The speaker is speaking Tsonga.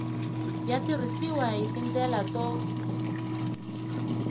ya tirhisiwa hi tindlela to